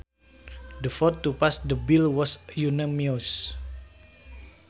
The vote to pass the bill was unanimous